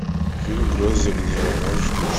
фильм гроздья гнева можешь включить